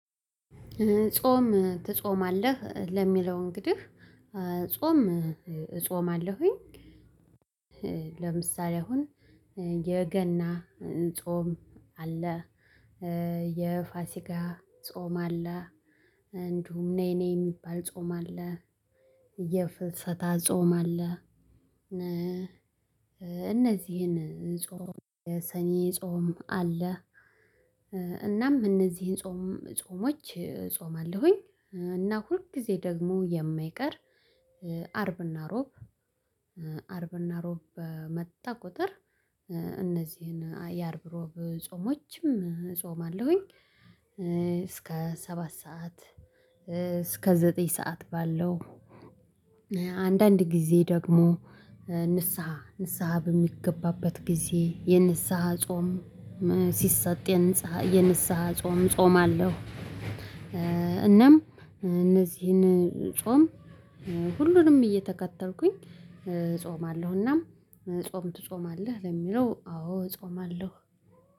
ጾም ትጾማለህ ለሚለው እንግዲህ ጾም እጾማለሁኝ። ለምሳሌ አሁን የገና ጾም አለ። የፋሲካ ጾም አለ። እንዲሁም ነይነይ የሚባል ጾም አለ። የፍልሰታ ጾም አለ። እነዚህን ጾም የሰኔ ጾም አለ እናም እነዚህን ጾም ጾሞች እፆማለሁኝ። እና ሁል ጊዜ ደግሞ የማይቀር አርብና ሮብ እ አርብ ሮብ በመጣ ቁጥር እነዚህን የአርብ ሮብ ጾሞችም እፆማለሁኝ። እስከ ሰባት ሰዓት እስከ ዘጠኝ ሰዓት ባለው። አንዳንድ ጊዜ ደግሞ ንስሃ ንስሃ በሚገባበት ጊዜ የንስሃ ጾም ሲሰጥ የንስሃ የንስሃ ጾም እጾማለሁ። እናም እነዚህን ጾም ሁሉንም እየተከተልኩኝ እጾማለሁ። ጾም ትጾማለህ? ለሚለው አዎ እጾማለሁ